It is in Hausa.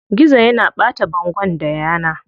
Gizo yana ɓata bangon da yana.